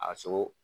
A sogo